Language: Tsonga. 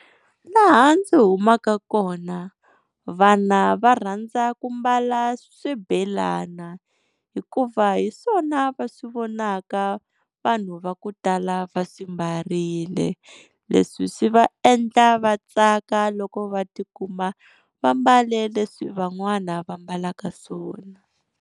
Laha ndzi humaka kona vana va rhandza ku mbala swibelana, hikuva hi swona va swi vonaka vanhu va ku tala va swi mbarile. Leswi swi va endla va tsaka loko va tikuma vambale leswi van'wana va ambalaka swona.